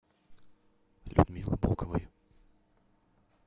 людмилы боковой